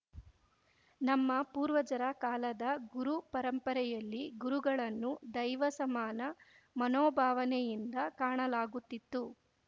ನಮ್ಮ ಪೂರ್ವಜರ ಕಾಲದ ಗುರು ಪರಂಪರೆಯಲ್ಲಿ ಗುರುಗಳನ್ನು ದೈವ ಸಮಾನ ಮನೋಭಾವನೆಯಿಂದ ಕಾಣಲಾಗುತ್ತಿತ್ತು